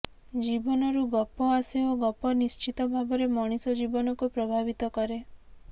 ଜୀବନରୁ ଗପ ଆସେ ଓ ଗପ ନିଶ୍ଚିତ ଭାବରେ ମଣିଷ ଜୀବନକୁ ପ୍ରଭାବିତ କରେ